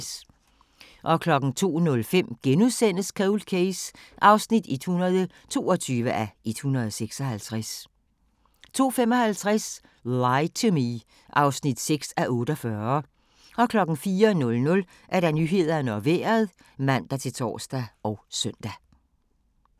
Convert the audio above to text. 02:05: Cold Case (122:156)* 02:55: Lie to Me (6:48) 04:00: Nyhederne og Vejret (man-tor og søn)